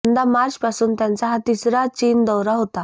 यंदा मार्चपासून त्यांचा हा तिसरा चीन दौरा होता